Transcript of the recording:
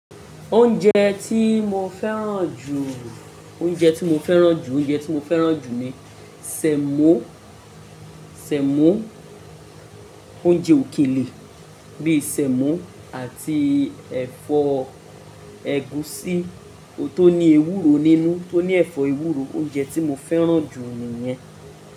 Oúnjẹ tí mo fẹ́ràn jù, oúnjẹ tí mo fẹ́ràn jù, oúnjẹ tí mo fẹ́ràn jù ni sẹ̀mọ́, sẹ̀mọ́, oúnjẹ òkèlè bíi sẹ̀mọ́ àti ẹ̀fọ́ ẹ̀gúsí tó ní ewúro nínú tó ní ẹ̀fọ́ ewúro. Oúnjẹ tí mo fẹ́ràn jù ni yẹn.